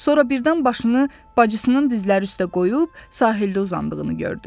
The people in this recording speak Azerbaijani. Sonra birdən başını bacısının dizləri üstə qoyub sahildə uzandığını gördü.